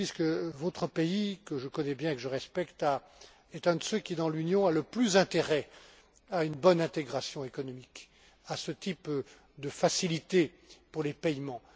M. Chountis, que votre pays, que je connais bien et que je respecte, est un de ceux qui, dans l'Union, a le plus intérêt à une bonne intégration économique, à ce type de facilité pour les paiements.